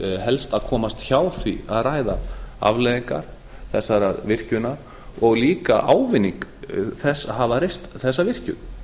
helst að komast hjá því að ræða afleiðingar þessarar virkjunar og líka ávinning þess að hafa reist þessa virkjun